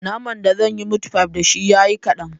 Naman da zanyi mitfai dashi ya yi kaɗan